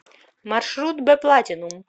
маршрут бэплатинум